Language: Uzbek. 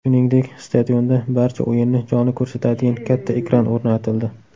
Shuningdek, stadionda barcha o‘yinni jonli ko‘rsatadigan katta ekran o‘rnatildi.